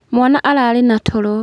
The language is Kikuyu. Mwaana ararĩ na toro.